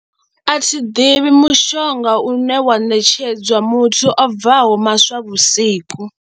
A thi ḓivhi mushonga une wa ṋetshedzwa muthu o bvaho maswavhusiku.